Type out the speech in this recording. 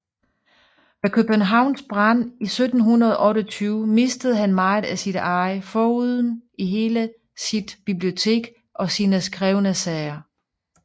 Ved Københavns brand 1728 mistede han meget af sit eje foruden hele sit bibliotek og sine skrevne sager